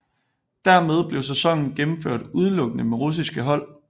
Dermed blev sæsonen gennemført udelukkende med russiske hold